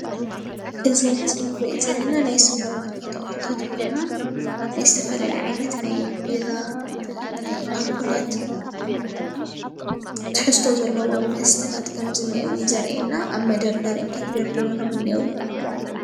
እዚ ኣብ ምስሊ እንሪኦ ዘለና ናይ ስፖር ማርኬት ኣቅሑታት ኮይኖም ናይ ዝተፈላለየ ዓይነት ናይ ቢራ ናይኣልኮላት ትሕዝቶ ዘለዎም መስተታት ከም ዝኒአው እዩ ዘርኢየና ኣብ መደርደሪኦም ተደርዲሮም እኒአው፡፡